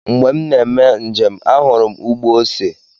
Mgbe m na-eme njem, ahụrụ m ugbo ose.